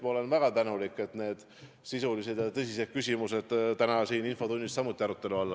Ma olen ka väga tänulik, et need sisulised ja tõsised küsimused on täna siin infotunnis arutelu all.